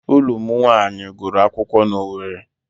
Ụlụ m nwaanyị gụrụ akwụkwọ n'Owere.